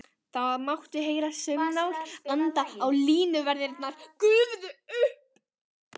Það mátti heyra saumnál anda og línuverðirnir gufuðu upp.